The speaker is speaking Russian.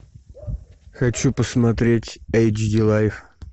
хочу посмотреть эйч ди лайф